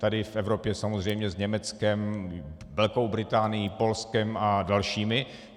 Tady v Evropě samozřejmě s Německem, Velkou Británií, Polskem a dalšími.